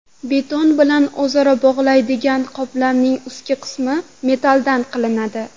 Beton bilan o‘zaro bog‘laydigan qolipning ustki qismi metalldan qilinadi.